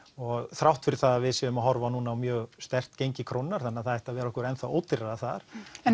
þrátt fyrir það að við séum að horfa á núna mjög sterkt gengi krónunnar þannig að það ætti að vera okkur ennþá ódýrari þar en